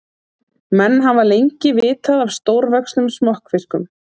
Menn hafa lengi vitað af stórvöxnum smokkfiskum.